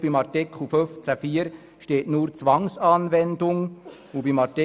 Bei Artikel 15 Absatz 4 steht nur «Zwangsanwendung», bei Artikel